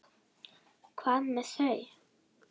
Hvað með þau?